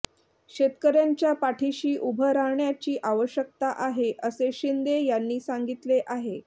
शेतकऱ्यांच्या पाठीशी उभं राहण्याची आवश्यकता आहे असे शिंदे यांनी सांगितले आहे